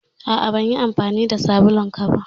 A'a. Ban yi amfani da sabulun ka ba.